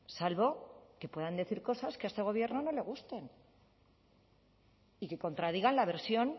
salvo que puedan decir cosas que a este gobierno no le gusten y que contradigan la versión